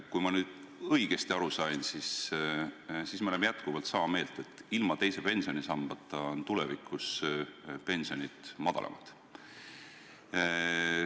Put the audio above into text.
Kui ma nüüd õigesti aru sain, siis me oleme jätkuvalt sama meelt, et ilma teise pensionisambata on tulevikus pensionid madalamad.